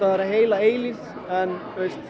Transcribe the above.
vera heila eilífð en